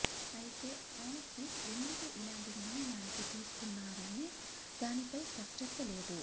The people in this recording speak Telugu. అయితే ఆసిఫ్ ఎందుకు ఇలాంటి నిర్ణయానికి తీసుకున్నారనే దానిపై స్పష్టత లేదు